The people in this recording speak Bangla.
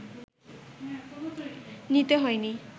নিতে হয়নি